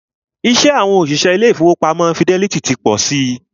Iṣẹ́ àwọn òṣìṣẹ́ ilé ìfọwọ́pamo Fidelity ti pọ si.